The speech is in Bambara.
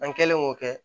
An kɛlen k'o kɛ